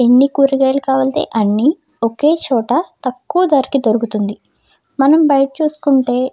ఎన్ని కూరగాయలు కావాలతే అన్ని ఒకే చోట తక్కువ దరికి దొరుకుతుంది. మనం బయట చూసుకుంటే --